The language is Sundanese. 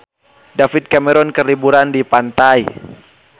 David Cameron keur liburan di pantai